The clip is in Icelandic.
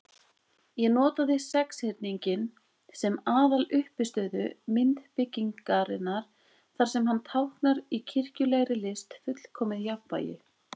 Ég notaði sexhyrninginn sem aðaluppistöðu myndbyggingarinnar, þar sem hann táknar í kirkjulegri list fullkomið jafnvægi.